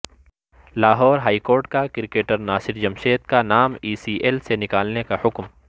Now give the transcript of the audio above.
Lahore high court کا cricketer Nasir Jamshed کا نام ای سی ایل سے نکالنے کا حکم